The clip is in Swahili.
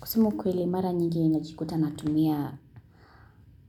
Kusema ukweli mara nyingi ninajikuta na tumia